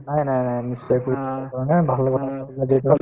নাই নাই নাই নিশ্চয়কৈ disturb কৰা নাই ভাল